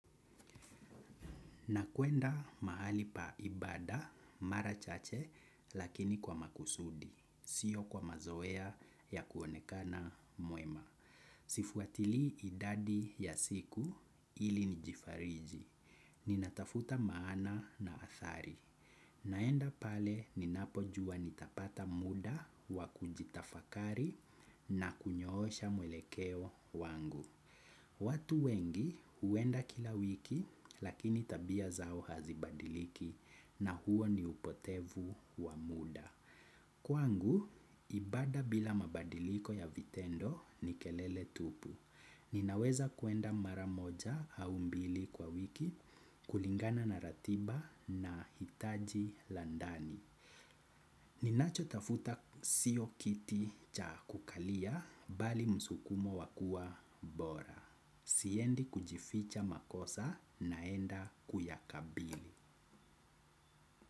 Na kuenda mahali pa ibada mara chache lakini kwa makusudi, sio kwa mazoea ya kuonekana mwema. Sifuatilii idadi ya siku ili nijifariji, ninatafuta maana na athari. Naenda pale ninapojua nitapata muda wa kujitafakari na kunyoosha mwelekeo wangu. Watu wengi huenda kila wiki lakini tabia zao hazibadiliki na huo ni upotevu wa muda. Kwangu, ibada bila mabadiliko ya vitendo ni kelele tupu. Ninaweza kuenda mara moja au mbili kwa wiki kulingana na ratiba na hitaji la ndani. Ninachotafuta siyo kiti cha kukalia bali msukumo wa kuwa bora. Siendi kujificha makosa naenda kuyakabili.